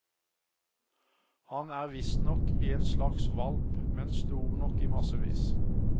Han er visstnok en slags hvalp, men stor nok i massevis.